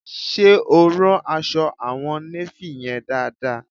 Ṣe o rán aṣọ àwọn néfì yẹn dáadáa?